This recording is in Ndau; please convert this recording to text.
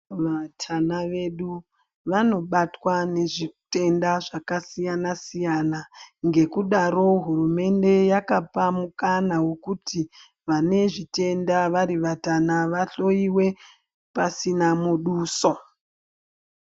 Vatana vedu vanobatwa nezvitenda zvakasiyana siyana ngekudaro hurumende yakapa mukana wekuti vane zvitenda vari vatana vahloyiwe pasina muduso.